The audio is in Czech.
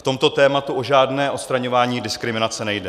V tomto tématu o žádné odstraňování diskriminace nejde.